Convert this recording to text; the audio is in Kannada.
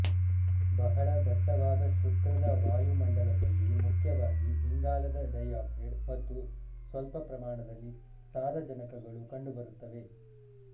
ಬಹಳ ದಟ್ಟವಾದ ಶುಕ್ರದ ವಾಯುಮಂಡಲದಲ್ಲಿ ಮುಖ್ಯವಾಗಿ ಇಂಗಾಲದ ಡೈಆಕ್ಸೈಡ್ ಮತ್ತು ಸ್ವಲ್ಪ ಪ್ರಮಾಣದಲ್ಲಿ ಸಾರಜನಕಗಳು ಕಂಡುಬರುತ್ತವೆ